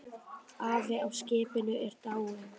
Afi á skipinu er dáinn.